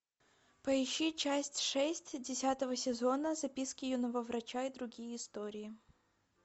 поищи часть шесть десятого сезона записки юного врача и другие истории